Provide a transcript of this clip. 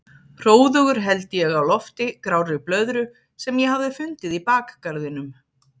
Hróðugur held ég á lofti grárri blöðru sem ég hafði fundið í bakgarðinum.